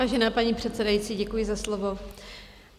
Vážená paní předsedající, děkuji za slovo.